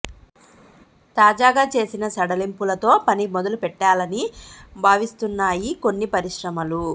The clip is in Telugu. తాజాగా చేసిన సడలింపులతో పని మొదలు పెట్టాలని భావిస్తున్నాయి కొన్ని పరిశ్రమలు